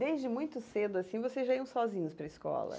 Desde muito cedo, assim, vocês já iam sozinhos para a escola?